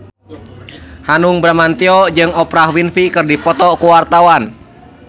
Hanung Bramantyo jeung Oprah Winfrey keur dipoto ku wartawan